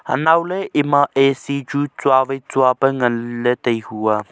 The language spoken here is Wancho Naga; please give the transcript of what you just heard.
anau ley ema A C chu tsua vai tsua pa ngan ley taihu ah.